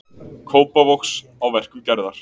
Kópavogs á verkum Gerðar.